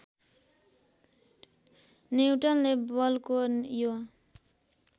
न्युटनले बलको यो